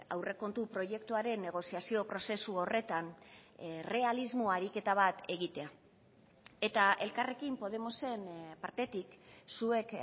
aurrekontu proiektuaren negoziazio prozesu horretan errealismo ariketa bat egitea eta elkarrekin podemosen partetik zuek